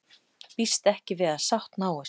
Býst ekki við að sátt náist